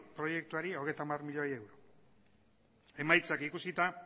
proiektuari hogeita hamar milioi euro emaitzak ikusita